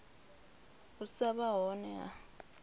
u sa vha hone ha